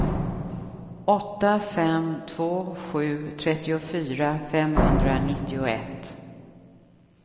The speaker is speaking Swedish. åtta fem två sju trettiofyra femhundranittioett